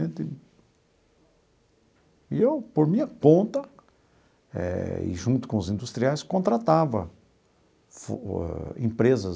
e eu, por minha conta eh e junto com os industriais, contratava empresas